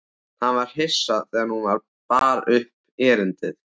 Hann var hissa þegar hún bar upp erindið.